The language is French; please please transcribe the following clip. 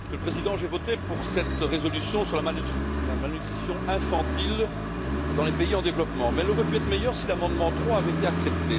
Monsieur le Président, j'ai voté pour cette résolution sur la malnutrition infantile dans les pays en développement, qui aurait pu être meilleure si l'amendement 3 avait été accepté.